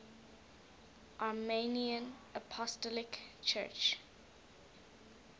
armenian apostolic church